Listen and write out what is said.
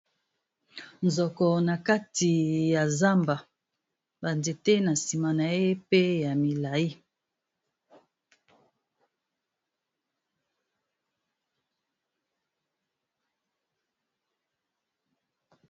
Nzoko, na kati ya zamba. Ba nzete, na nsima na ye pe ya milai.